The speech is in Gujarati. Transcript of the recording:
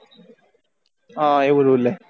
હા એવો rule હે